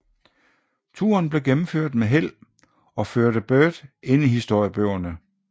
Turen blev gennemført med held og førte Byrd ind i historiebøgerne